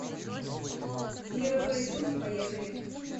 мировые судьи поехали